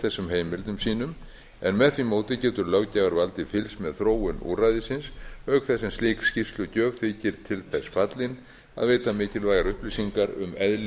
þessum heimildum sínum en með því móti getur löggjafarvaldið fylgst með þróun úrræðisins auk þess sem slík skýrslugjöf þykir til þess fallin að veita mikilvægar upplýsingar um eðli